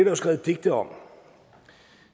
jo skrevet digte om